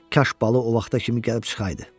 Kaş Balı o vaxta kimi gəlib çıxaydı.